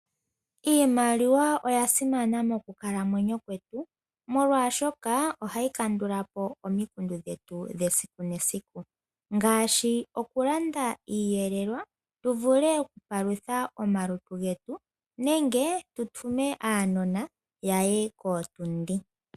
Iimaliwa oya simana mokukalamwenyo kwetu molwashoka ohayi kandulapo omikundu dhetu dhesiku nesiku ngaashi okulanda iiyelelwa tuvule okupalutha omalutu getu nenge tu tume aanona ya ye kootundi.